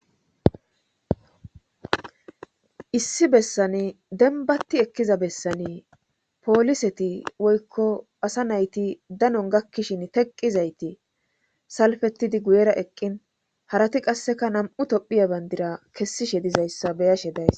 issi bessani denbati ekkiza bessani pooliseti woykko asa nayti danon gakkishin teqqizayti salfetidi guyera eqqin harati qasseka nam7u tophiya bandira kessishe dizayssa beyashe days